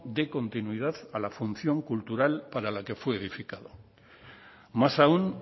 dé continuidad a la función cultural para la que fue edificada más aún